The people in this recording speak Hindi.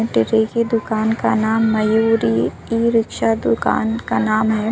की दुकान का नाम मयूरी ई रिक्शा दुकान का नाम है।